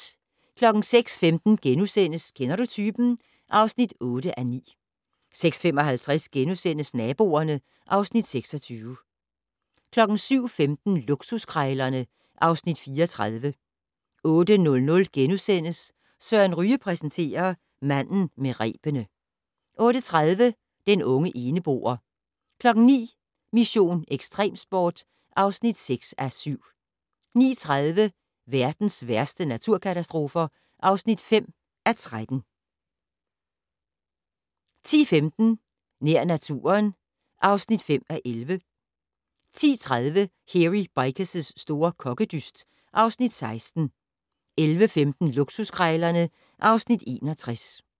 06:15: Kender du typen? (8:9)* 06:55: Naboerne (Afs. 26)* 07:15: Luksuskrejlerne (Afs. 34) 08:00: Søren Ryge præsenterer: Manden med rebene * 08:30: Den unge eneboer 09:00: Mission: Ekstremsport (6:7) 09:30: Verdens værste naturkatastrofer (5:13) 10:15: Nær naturen (5:11) 10:30: Hairy Bikers' store kokkedyst (Afs. 16) 11:15: Luksuskrejlerne (Afs. 61)